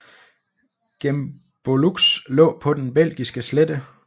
Gembloux lå på den belgiske slette